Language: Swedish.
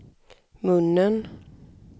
munnen